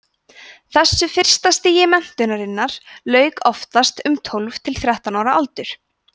þessu fyrsta stigi menntunarinnar lauk oftast um tólf til þrettán ára aldur